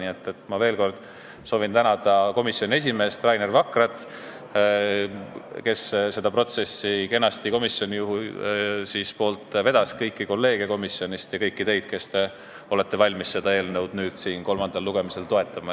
Ma soovin veel kord tänada komisjoni esimeest Rainer Vakrat, kes seda protsessi kenasti komisjoni poolt vedas, kõiki kolleege komisjonist ja kõiki teid, kes te olete valmis seda eelnõu nüüd kolmandal lugemisel toetama.